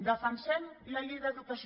defensem la llei d’educació